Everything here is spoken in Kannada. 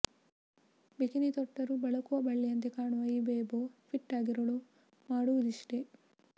ಬಿಕಿನಿ ತೊಟ್ಟರೂ ಬಳಕುವ ಬಳ್ಳಿಯಂತೆ ಕಾಣುವ ಈ ಬೇಬೂ ಫಿಟ್ ಆಗಿರಲು ಮಾಡುವುದಿಷ್ಟೆ